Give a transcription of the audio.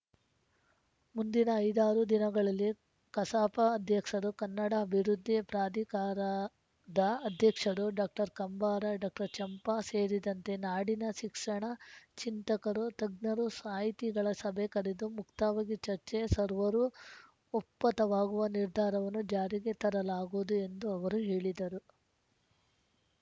ಮುಂದಿನ ಐದಾರು ದಿನಗಳಲ್ಲಿ ಕಸಾಪ ಅಧ್ಯಕ್ಸರು ಕನ್ನಡ ಅಭಿವೃದ್ಧಿ ಪ್ರಾಧಿಕಾರದ ಅಧ್ಯಕ್ಷರು ಡಾಕ್ಟರ್ ಕಂಬಾರ ಡಾಕ್ಟರ್ ಚಂಪಾ ಸೇರಿದಂತೆ ನಾಡಿನ ಶಿಕ್ಸಣ ಚಿಂತಕರು ತಜ್ಞರು ಸಾಹಿತಿಗಳ ಸಭೆ ಕರೆದು ಮುಕ್ತವಾಗಿ ಚರ್ಚೆ ಸರ್ವರೂ ಒಪ್ಪತವಾಗುವ ನಿರ್ಧಾರವನ್ನು ಜಾರಿಗೆ ತರಲಾಗುವುದು ಎಂದು ಅವರು ಹೇಳಿದರು